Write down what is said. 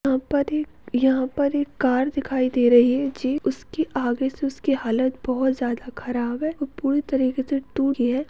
यहाँ पर एक यहाँ पर एक कार दिखाई दे रही है जी उसकी आगे से उसकी हालत बहुत ज्यादा खराब है वो पूरे तरीके से टूट गया है।